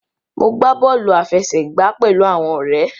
Mo gbà bóòlù àfẹsẹ̀gbá pẹlú àwọn òré.